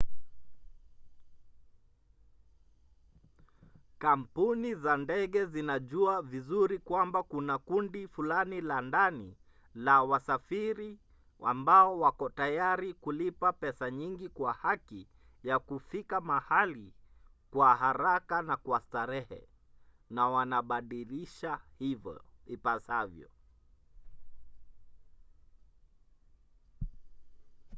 kampuni za ndege zinajua vizuri kwamba kuna kundi fulani la ndani la wasafiri ambao wako tayari kulipa pesa nyingi kwa haki ya kufika mahali kwa haraka na kwa starehe na wanabadilisha ipasavyo